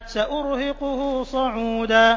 سَأُرْهِقُهُ صَعُودًا